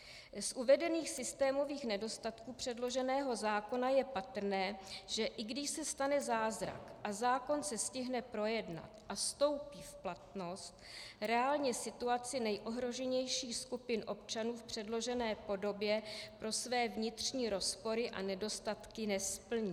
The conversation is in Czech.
Z uvedených systémových nedostatků předloženého zákona je patrné, že i když se stane zázrak a zákon se stihne projednat a vstoupí v platnost, reálně situaci nejohroženějších skupin občanů v předložené podobě pro své vnitřní rozpory a nedostatky nesplní.